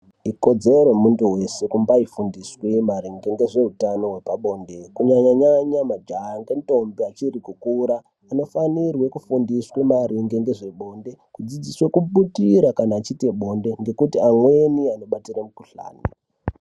Ikodzero yemuntu weshe kumbaifundiswe maringe ngezveutano wepabonde kunyanyanyanya majaha ngendombi vachiri kukura vanofanirwe kufundiswa maringe ngezvebonde kudzidziswa kubutira kana achiite bonde ngekuti amweni anobatire mukhuhlani.